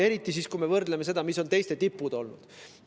Eriti siis, kui me võrdleme sellega, mis on teiste tipud olnud.